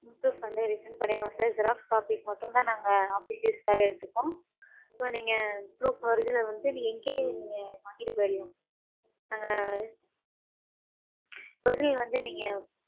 proof வந்து return பன்னிருவோம் sir. Xerox copies மட்டும் நாங்க office use க்காக எடுத்துக்குவோம். so நீங்க proof original வந்து நீங்க இங்கேயே வாங்கிட்டு போய்டலாம். original வந்து நீங்க.